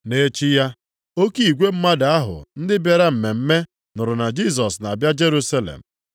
Nʼechi ya oke igwe mmadụ ahụ ndị bịara mmemme nụrụ na Jisọs na-abịa Jerusalem.